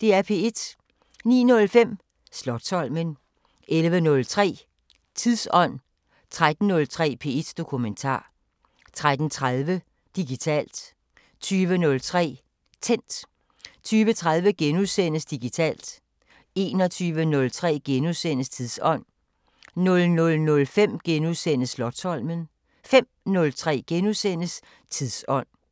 09:05: Slotsholmen 11:03: Tidsånd 13:03: P1 Dokumentar 13:30: Digitalt 20:03: Tændt 20:30: Digitalt * 21:03: Tidsånd * 00:05: Slotsholmen * 05:03: Tidsånd *